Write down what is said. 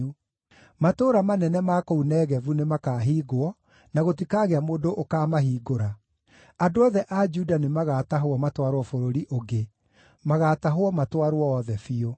Matũũra manene ma kũu Negevu nĩmakahingwo, na gũtikagĩa mũndũ ũkaamahingũra. Andũ othe a Juda nĩmagatahwo matwarwo bũrũri ũngĩ, magaatahwo matwarwo othe biũ.